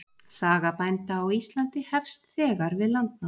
Saga bænda á Íslandi hefst þegar við landnám.